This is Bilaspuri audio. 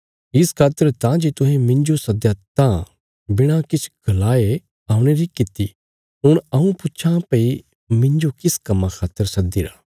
इस खातर तां जे तुहें मिन्जो सदया तां बिणा किछ गलाये औणे री किति हुण हऊँ पुच्छां भई मिन्जो किस कम्मां खातर सद्दीरा